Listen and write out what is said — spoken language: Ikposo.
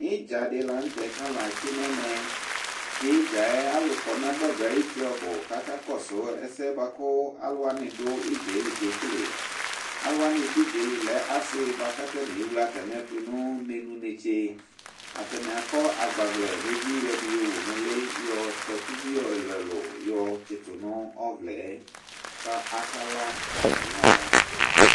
Ɩdza dɩ la nʋ tɛ kʋ alʋ atsɩ nʋ ɛmɛ, tʋ ɩdza yɛ alʋ kɔ nʋ agbadɔ ayuti ɔbʋ kʋ akakɔsʋ ɛsɛ bʋa kʋ alʋ wanɩ dʋ ɩdza yɛ li kekele Alʋ wanɩ dʋ ɩdza yɛ li lɛ asɩ bʋa kʋ atanɩ ewle atamɩ ɛtʋ nʋ menu netse, atanɩ akɔ agbavlɛ nʋ evi yɔ ɛdɩ yɔwu nʋ ʋlɩ yɔ takuvi ɛlʋ-ɛlʋ yɔtsɩtʋ nʋ ɔvlɛ yɛ kʋ akala atamɩ ala